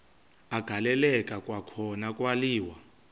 agaleleka kwakhona kwaliwa